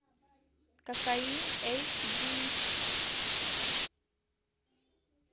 кокаин эйч ди